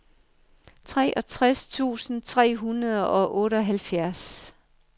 treogtres tusind tre hundrede og otteoghalvfjerds